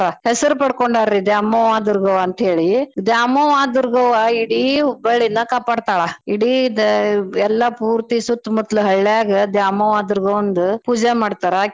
ಹೆಸ್ರ್ ಪಡ್ಕೊಂಡಾರ್ರಿ ದ್ಯಾಮವ್ವ ದುರ್ಗವ್ವ ಅಂತೇಳಿ ದ್ಯಾಮವ್ವ ದುರ್ಗವ್ವ ಇಡೀ Hubballi ನ ಕಾಪಾಡ್ತಳಾ ಇಡೀ ದ~ ಎಲ್ಲಾ ಪೂರ್ತಿ ಸುತ್ತ್ ಮುತ್ಲ್ ಹಳ್ಯಾಗ ದ್ಯಾಮವ್ವ ದುರ್ಗವ್ವಂದ್ ಪೂಜೆ ಮಾಡ್ತರಾ ಆಕಿ.